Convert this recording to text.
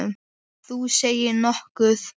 Þú segir nokkuð.